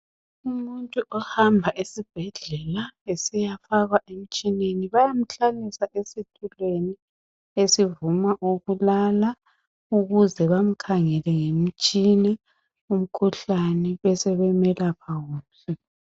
Umuntu ohamba esibhedlela esiyafakwa emtshineni bayamhlalisa esitulweni esivuma ukulala ukuze bamkhangele ngemitshina umkhuhlane besebemelapha kuhle.